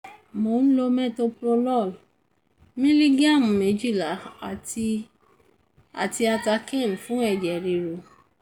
mò ń lo metoprolol milligram méjìlá àti àti atacane fún ẹ̀jẹ̀ ríru